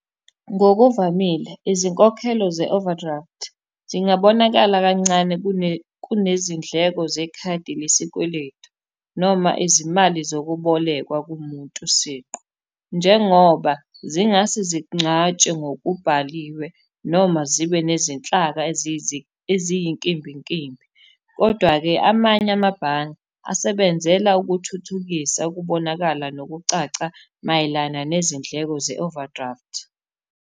Ngokuvamile izinkokhelo ze-overdraft, zingabonakali kancane kunezindleko zekhadi lesikweletu noma izimali zokubolekwa kumuntu siqu, njengoba zingase zingcatshwe ngokubhaliwe, noma zibe nezinhlaka eziyinkimbinkimbi, kodwa-ke amanye amabhange asebenzela ukuthuthukisa, ukubonakala, nokucaca mayelana nezindleko ze-overdraft.